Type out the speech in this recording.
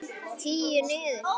Tíu niður.